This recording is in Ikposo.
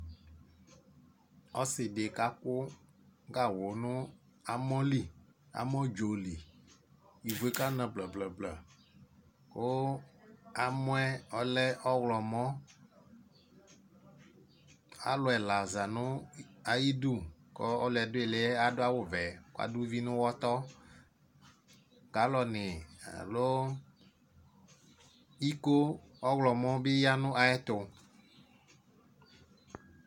Ɔsɩ dɩ kakʋ gawʋ nʋ amɔ li, amɔdzo li, ivu yɛ kana blǝ-blǝ kʋ amɔ yɛ ɔlɛ ɔɣlɔmɔ Alʋ ɛla za nʋ itsu ayidu kʋ ɔlʋ yɛ dʋ ɩɩlɩ yɛ adʋ awʋvɛ kʋ adʋ uvi nʋ ʋɣɔtɔ Galɔnɩ alo iko ɔɣlɔmɔ bɩ ya nʋ ayɛtʋ